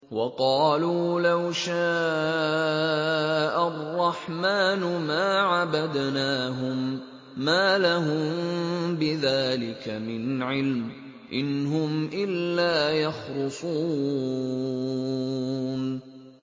وَقَالُوا لَوْ شَاءَ الرَّحْمَٰنُ مَا عَبَدْنَاهُم ۗ مَّا لَهُم بِذَٰلِكَ مِنْ عِلْمٍ ۖ إِنْ هُمْ إِلَّا يَخْرُصُونَ